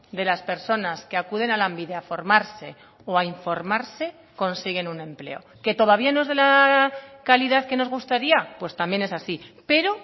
de las personas que acuden a lanbide a formarse o a informarse consiguen un empleo que todavía no es de la calidad que nos gustaría pues también es así pero